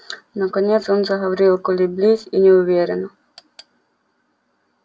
наконец он заговорил колеблись и неуверенно